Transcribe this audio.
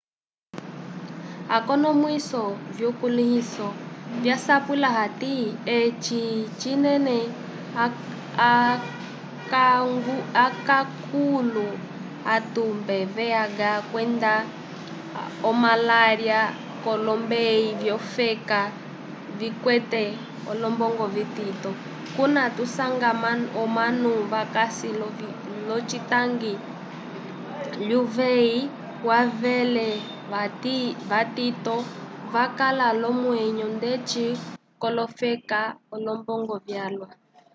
akonomwiso vyukulĩhiso vyasapwila hati eci cinene okankulu otumbe vih kwenda omalalya k'olombeyi vyolofeka vikwete olombongo vitito kuna tusanga omanu vakasi l'ocitangi lyuveyi wevele vatito vakala l'omwneyo ndeci k'olofeka l'olombongo vyalwa